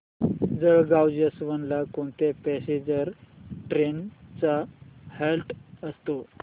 Jalgaon junction ला कोणत्या passenger trains चा हॉल्ट असतो